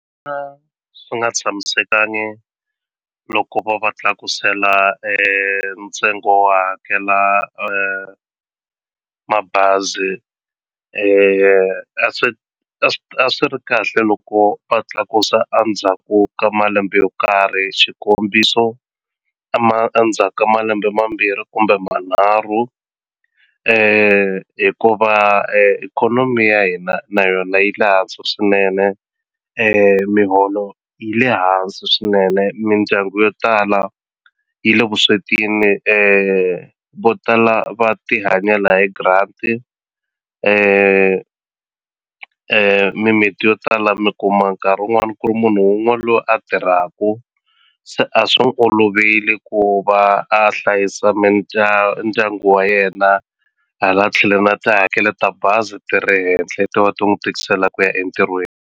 swi nga tshamisekangi loko va va tlakusela ntsengo wo hakela mabazi a swi a a swi ri kahle loko va tlakusa a ndzhaku ka malembe yo karhi xikombiso a a ndzhaka malembe mambirhi kumbe manharhu hikuva ikhonomi ya hina na yona yi le hansi swinene miholo yi le hansi swinene mindyangu yo tala yi le vuswetini vo tala va ti hanyela hi grant mimiti yo tala mi kuma nkarhi wun'wani ku ri munhu wun'we loyi a tirhaku se a swi n'wi olovile ku va a hlayisa ndyangu wa yena hala tlhelo na tihakelo ta bazi ti ri henhla ti va ti n'wi tikisela ku ya entirhweni.